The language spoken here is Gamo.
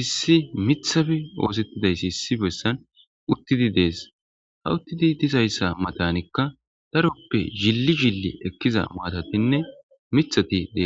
issi mithafi oosettidayssi issi bessan uttidi dees ha uttidi dizayssa matanikka daroppe zilli zilli ekkiza maatatinne mithati dees